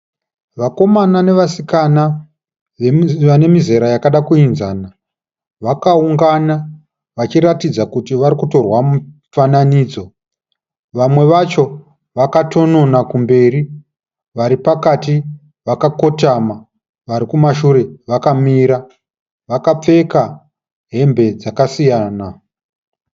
Vakomana nevasikana vane mizera yakada kuenzana vakaungana vachiratidza kuti varikutorwa mufananidzo vamwe vacho vakatonona kumberi vari pakati vakakotama vari kumashure vakamira vakapfeka hembe dzakasiyana.